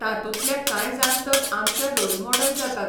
तातूंतले कांय जाण तर आमचे रोल मॉडेल जातात.